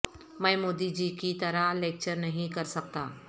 میں مودی جی کی طرح لیکچر نہیں کر سکتا